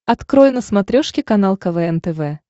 открой на смотрешке канал квн тв